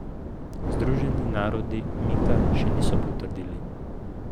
Združeni narodi umika še niso potrdili.